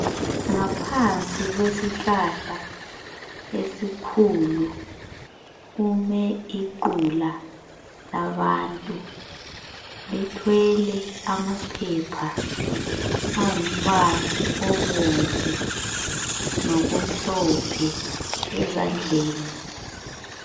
Ngaphansi kwesihlahla esikhulu kume iqula labantu. Lithwele amaphepha angumbali obomvu lomhlophe ezandleni.